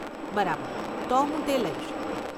બરાબર. તો હું તે લઈશ.